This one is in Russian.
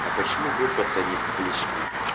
а почему группа-то не публичная